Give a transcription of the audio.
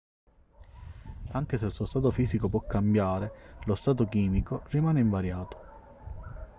anche se il suo stato fisico può cambiare lo stato chimico rimane invariato